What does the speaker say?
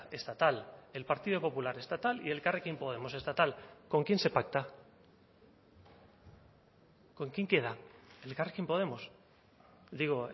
estatal el partido popular estatal y elkarrekin podemos estatal con quién se pacta con quién queda elkarrekin podemos digo